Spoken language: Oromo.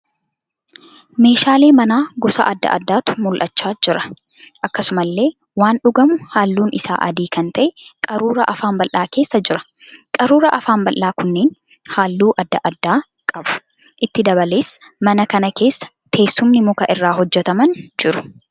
Meeshaalee manaa gosa adda addaatu mul'achaa jira. Akkasumallee waan dhugamu halluun isaa adii kan ta'ee qaruuraa afaan bal'aa keessa jira. Qaruuraa afaan bal'aa kunneen halluu adda addaa qabu. itti dabalees mana kana keessa teessumni muka irraa hojjetaman jiru.